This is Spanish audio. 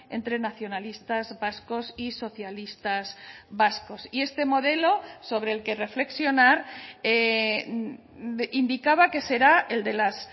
entre nacionalistas vascos y socialistas vascos y este modelo sobre el que reflexionar indicaba que será el de las